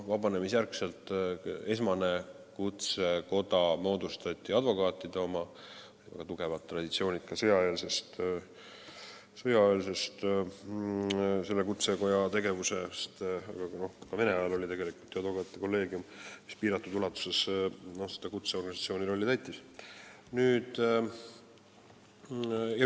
Vabanemisjärgselt moodustati esimese kutsekojana advokaatide koda, sellel kutsekojal olid väga tugevad traditsioonid sõjaeelsel ajal, aga ka vene ajal täitis advokaatide kolleegium seda kutseorganisatsiooni rolli.